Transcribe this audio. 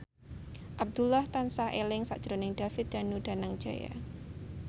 Abdullah tansah eling sakjroning David Danu Danangjaya